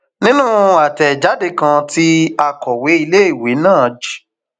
nínú àtẹjáde kan tí akọwé iléèwé náà j